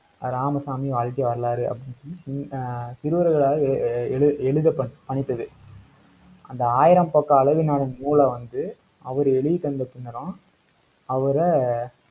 ராமசாமி வாழ்க்கை வரலாறு, அப்படின்னு ஆஹ் சிறுவர்களால் ஏ ஏ ஏழு~ எழுதப்ப~ பணித்தது. அந்த ஆயிரம் பக்க அளவினாலும் நூலை வந்து, அவர் எழுதி தந்த பின்னரும், அவரை